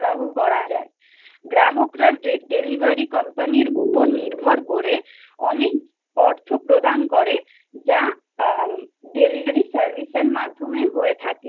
গ্রাহকরা delivery company উপর নির্ভর করে অনেক অর্থ প্রদান করে যা delivery service এর মাধ্যমে হয়ে থাকে